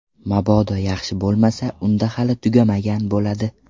Mabodo yaxshi bo‘lmasa, unda hali tugamagan bo‘ladi.